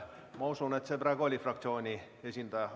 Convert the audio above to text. Ma usun, et Signe praegu oligi fraktsiooni esindaja.